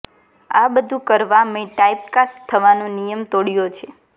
આ બધુ કરવા મેં ટાઇપકાસ્ટ થવાનો નિયમ તોડ્યો છે